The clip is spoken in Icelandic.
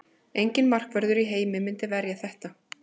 Enginn markvörður í heimi myndi verja þetta.